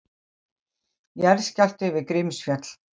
Jarðskjálfti við Grímsfjall